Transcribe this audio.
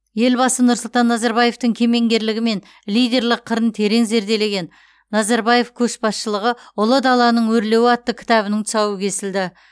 елбасы нұрсұлтан назарбаевтың кемеңгерлігі мен лидерлік қырын терең зерделеген назарбаев көшбасшылығы ұлы даланың өрлеуі атты кітабының тұсауы кесілді